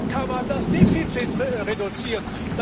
So kann man das Defizit reduzieren.